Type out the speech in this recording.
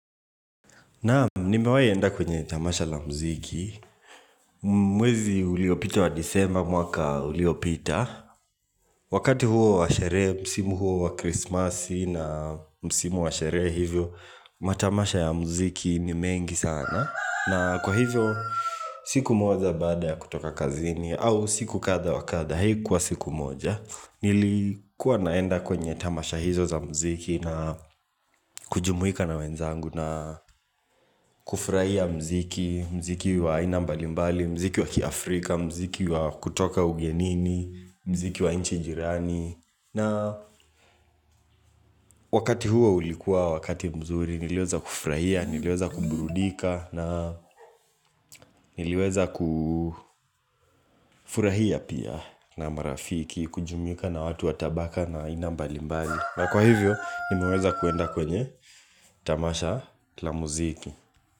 Naam nimewai enda kwenye tamasha la mziki. Mwezi uliopita wa nisema mwaka uliopita. Wakati huo wa sherehe, msimu huo wa krismasi na msimu wa sherehe hivyo, matamasha ya mziki ni mengi sana. Na kwa hivyo, siku moja baada ya kutoka kazini au siku katha wakatha. Hei kwa siku moja, nilikuwa naenda kwenye tamasha hizo za mziki na kujumuika na wenzangu na kufuraia mziki, mziki wa ina mbali mbali, mziki wa kiafrika, mziki wa kutoka ugenini, mziki wa inchi jirani na wakati huo ulikuwa wakati mzuri nilioza kufraia, nilioza kuburudika na niliweza kufurahia pia na marafiki, kujumuika na watu watabaka na ina mbali mbali na kwa hivyo, nimaweza kuenda kwenye tamasha la muziki.